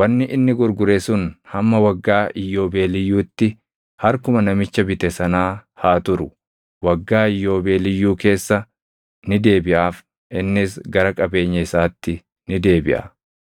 wanni inni gurgure sun hamma waggaa iyyoobeeliyyuutti harkuma namicha bite sanaa haa turu. Waggaa Iyyoobeeliyyuu keessa ni deebiʼaaf; innis gara qabeenya isaatti ni deebiʼa.